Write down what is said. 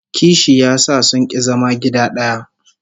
Kishi ya sa sun ki zama gida daya